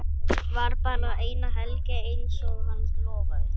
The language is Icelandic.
Var bara eina helgi einsog hann lofaði.